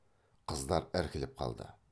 қыздар іркіліп қалды